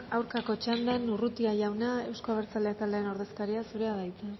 aurkako txandan urrutia jauna euzko abertzaleak taldearen ordezkaria zurea da hitza